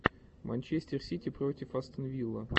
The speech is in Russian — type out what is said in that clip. матч манчестер сити против астон вилла